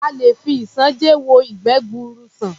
A lè fi isanje wo ìgbẹ́ gbuuru sàn.